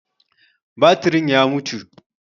Batirin ya mutu.